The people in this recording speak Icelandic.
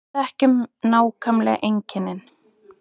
Við þekkjum nákvæmlega einkennin